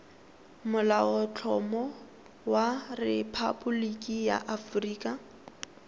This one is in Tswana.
molaotlhomo wa rephaboliki ya aforika